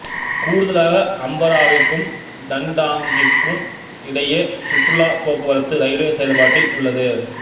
கூடுதலாக அம்பராவாவிற்கும் டன்டாங்கிற்கும் இடையே சுற்றுலாப்போக்குவரத்து ரயில்வே செயல்பாட்டில் உள்ளது